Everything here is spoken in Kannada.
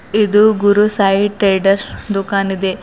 ಇದು ಗುರು ಸಾಯಿ ಟ್ರೇಡರ್ಸ್ ದುಖಾನ್ ಇದೆ.